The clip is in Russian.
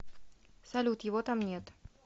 салют его там нет